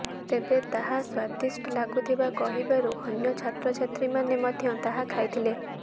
ତେବେ ତାହା ସ୍ୱାଦିଷ୍ଟ ଲାଗୁଥିବା କହିବାରୁ ଅନ୍ୟ ଛାତ୍ରଛାତ୍ରୀମାନେ ମଧ୍ୟ ତାହା ଖାଇଥିଲେ